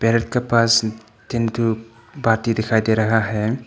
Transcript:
Parrot का पास तीन थु बाटी दिखाई दे रहा है।